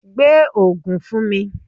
Gbé Ògùn fún mi.